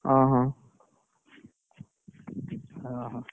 ଅହ! ଅହ!